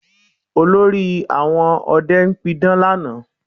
Olórí àwọn ọdẹ pidán lánàá